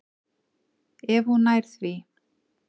Ef hún nær því.